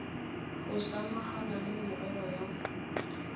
go samagana le merero ya